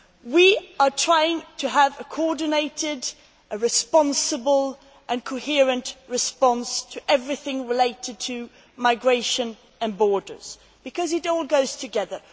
We are trying to have a coordinated, responsible and coherent response to everything relating to migration and borders because it all goes together.